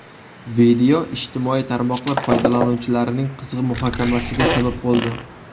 Video ijtimoiy tarmoqlar foydalanuvchilarining qizg‘in muhokamasiga sabab bo‘ldi.